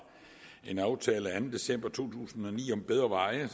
en aftale af anden december to tusind og ni om bedre veje